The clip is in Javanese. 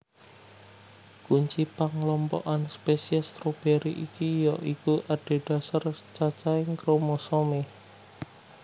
Kunci panglompokan spesies stroberi iki ya iku adhedhasar cacahing kromosomé